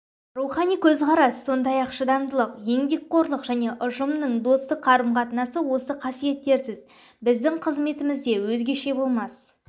рухани көзқарас сондай-ақ шыдамдылық еңбекқорлық және ұжымның достық қарым-қатынасы осы қасиеттерсіз біздің қызметімізде өзгеше болмас